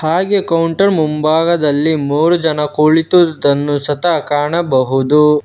ಹಾಗೆ ಕೌಂಟರ್ ಮುಂಭಾಗದಲ್ಲಿ ಮೂರು ಜನ ಕುಳಿತಿರುವುದನ್ನು ಸತ ಕಾಣಬಹುದು.